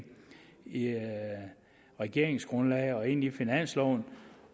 regeringsgrundlaget og ind i finansloven